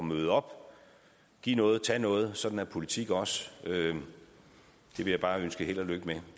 møde op og give noget og tage noget sådan er politik også det vil jeg bare ønske held og lykke med